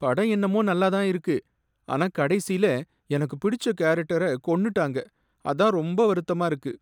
படம் என்னமோ நல்லா தான் இருக்கு, ஆனா கடைசில எனக்கு பிடிச்ச கேரக்டர கொன்னுட்டாங்க, அதான் ரொம்ப வருத்தமா இருக்கு.